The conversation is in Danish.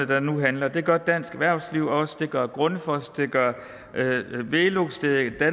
der nu handler det gør dansk erhvervsliv også det gør grundfos det gør velux det gør